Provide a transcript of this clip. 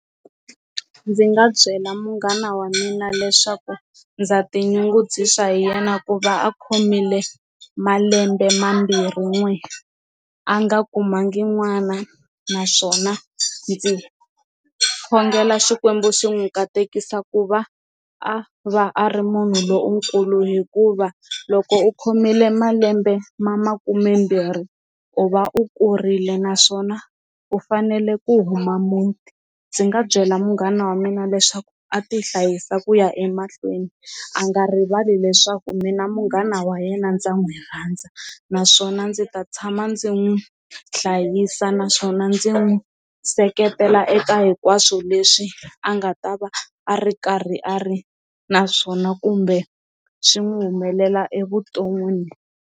Ndzi nga byela munghana wa mina leswaku ndza tinyungubyisa hi yena ku va a khomile malembe mambirhin'we a nga kumanga n'wana naswona ndzi khongela xikwembu xi n'wi katekisa ku va a va a ri munhu lonkulu hikuva loko u khomile malembe ma makumembirhi u va u kurile naswona u fanele ku huma muti, ndzi nga byela munghana wa mina leswaku a ti hlayisa ku ya emahlweni a nga rivali leswaku mina munghana wa yena ndza n'wi rhandza naswona ndzi ta tshama ndzi n'wi hlayisa naswona ndzi n'wi seketela eka hinkwaswo leswi a nga ta va a ri karhi a ri naswona kumbe swi n'wi humelela evuton'wini.